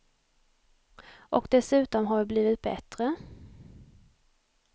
Och dessutom har vi blivit bättre.